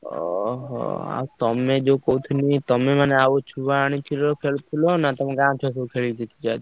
ଓହୋ। ଅ ଆଉ ତମେ ଯୋଉ କହୁଥିଲ ଆଉ ତମେ ମାନେ ଆଉ ଛୁଆ ଆଣିଥିଲ ଖେଳୁ~ ଥିଲ~ ନାଁ ତମ ଗାଁ ଛୁଆ ଖେଳୁଥିଲ ଆଜି?